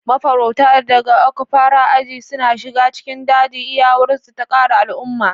Mafarauta daga Okpara aji suna shiga cikin daji, iyawarsu ta kare al'umma.